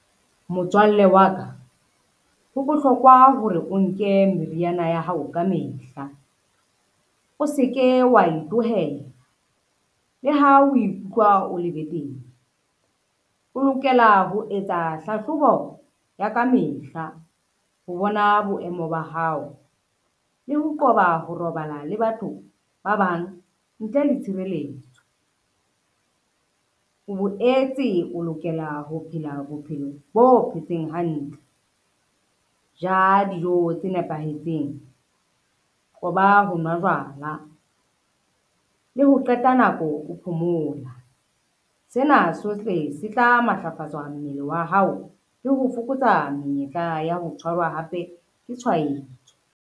Motswalle wa ka ho bohlokwa hore o nke meriana ya hao ka mehla, o se ke wa e tlohela le ha o ikutlwa o le betere. O lokela ho etsa hlahlobo ya kamehla ho bona boemo ba hao, le ho qoba ho robala le batho ba bang ntle le tshireletso. O boetse o lokela ho phela bophelo bo phetseng hantle, ja dijo tse nepahetseng, qoba ho nwa jwala le ho qeta nako o phomola. Sena sohle se tla matlafatswa mmele wa hao le ho fokotsa menyetla ya ho tshwarwa hape ke tshwaetso.